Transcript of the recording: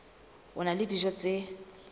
a na le dijo tse